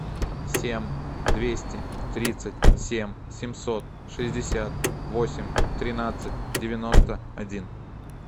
семь двести тридцать семь семьсот шестьдесят восемь тринадцать девяносто один